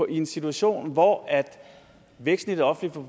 en situation hvor væksten i det offentlige